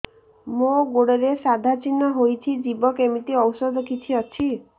ମୋ ଗୁଡ଼ରେ ସାଧା ଚିହ୍ନ ହେଇଚି ଯିବ କେମିତି ଔଷଧ କିଛି ଅଛି